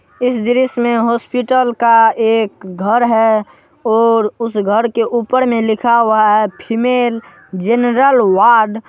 इस दृश्य में हॉस्पिटल का एक घर है और उस घर के ऊपर में लिखा हुआ है फीमेल जेनरल वॉर्ड |